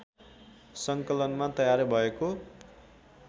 सङ्कलनमा तयार भएको